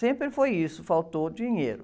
Sempre foi isso, faltou o dinheiro.